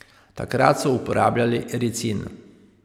Takrat so uporabljali ricin.